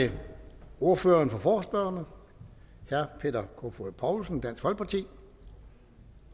det ordføreren for forespørgerne herre peter kofod poulsen dansk folkeparti